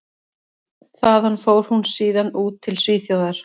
Þaðan fór hún síðan út til Svíþjóðar.